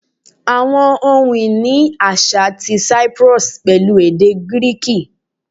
Awọn ohun-ini aṣa ti Cyprus pẹlu ede Giriki